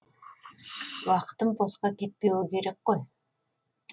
уақытым босқа кетпеуі керек қой